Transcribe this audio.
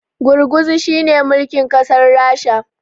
gurguzu shi ne mulkin kasar rasha